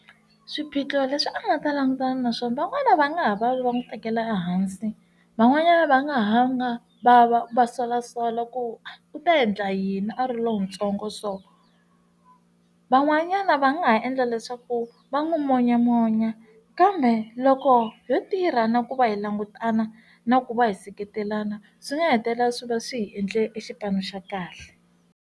Swiphiqo leswi a nga ta langutana naswona van'wana va nga ha va va n'wi tekela ehansi van'wanyana va nga ha hanga va va va solasola ku u ta endla yini a ri lontsongo so, van'wanyana va nga ha endla leswaku va n'wi monyamonya kambe loko yo tirha na ku va hi langutana na ku va hi seketelana swi nga hetelela swi va swi hi endle xipano xa kahle.